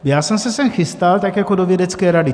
Já jsem se sem chystal tak jako do vědecké rady.